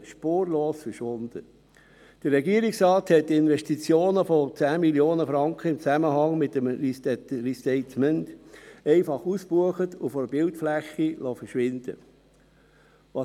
Der Regierungsrat hat Investitionen von 10 Mio. Franken im Zusammenhang mit einem Restatement einfach ausgebucht und von der Bildfläche verschwinden lassen.